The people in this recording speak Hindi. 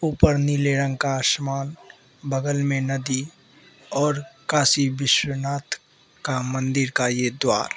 ऊपर नीले रंग का आसमान बगल में नदी और काशी विश्वनाथ का मंदिर का ये द्वार --